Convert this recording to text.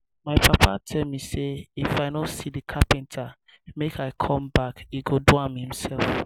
my papa tell me say if i no see the carpenter make i come back he go do am himself